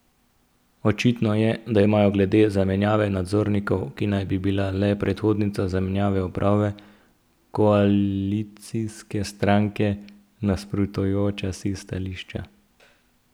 Očitno je, da imajo glede zamenjave nadzornikov, ki naj bi bila le predhodnica zamenjave uprave, koalicijske stranke nasprotujoča si stališča.